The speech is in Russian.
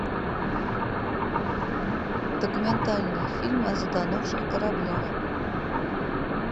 документальный фильм о затонувших кораблях